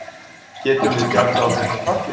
Getum við bjargað okkur frá falli?